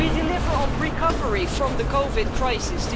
We deliver on recovery from the COVID crisis.